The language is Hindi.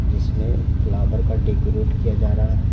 जिसमें फ्लावर का डेकोरेट किया जा रहा है।